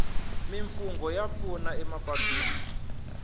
mimfungho ya pfuna emapatwini